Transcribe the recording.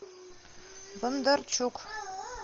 бондарчук